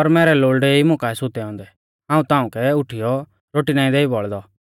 और मैरै लोल़डै ई मुकाऐ सुतै औन्दै हाऊं तांऊकै उठीयौ रोटी नाईं देई बौल़दौ